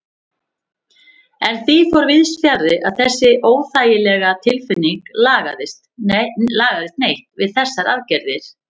En því fór víðsfjarri að þessi óþægilega tilfinning lagaðist neitt við þessar aðgerðir.